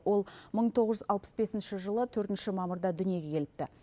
ол мың тоғыз жүз алпыс бесінші жылы төртінші мамырда дүниеге келіпті